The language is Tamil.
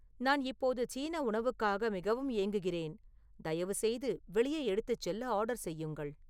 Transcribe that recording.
நான் இப்போது சீன உணவுக்காக மிகவும் ஏங்குகிறேன் தயவுசெய்து வெளியே எடுத்துச்செல்ல ஆர்டர் செய்யுங்கள்